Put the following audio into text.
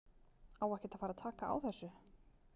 Á ekkert að fara að taka á þessu??